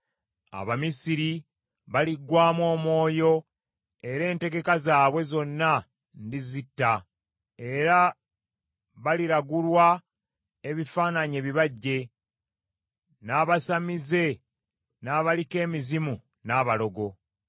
Abamisiri baliggwaamu omwoyo era entegeka zaabwe zonna ndizitta; era baliragulwa ebifaananyi ebibajje, n’abasamize, n’abaliko emizimu n’abalogo.